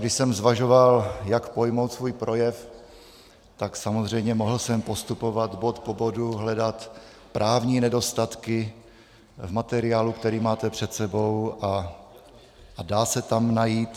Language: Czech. Když jsem zvažoval, jak pojmout svůj projev, tak samozřejmě jsem mohl postupovat bod po bodu, hledat právní nedostatky v materiálu, který máte před sebou, a dá se tam najít.